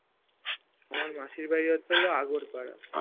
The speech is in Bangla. আমার মাসির বাড়ি হচ্ছে হলো আগরপাড়া